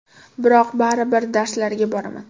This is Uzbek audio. Biroq baribir darslarga boraman.